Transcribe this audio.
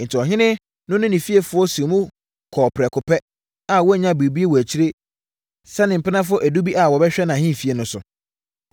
Enti, ɔhene no ne ne fiefoɔ sii so kɔɔ prɛko pɛ a wannya biribiara wɔ akyire sɛ ne mpenafoɔ edu bi a wɔbɛhwɛ nʼahemfie no so.